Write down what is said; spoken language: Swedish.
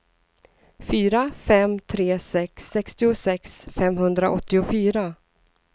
fyra fem tre sex sextiosex femhundraåttiofyra